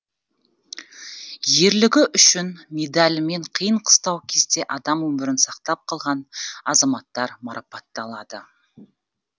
ерлігі үшін медалімен қиын қыстау кезде адам өмірін сақтап қалған азаматтар марапатталады